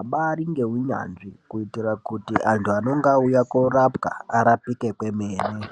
abari nehunyanzvi kuitira kuti antu anenge auya korapwa arapike kwemene.